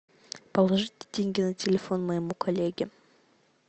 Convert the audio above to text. положите деньги на телефон моему коллеге